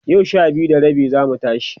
yau Sha biyu da rabi zamu tashi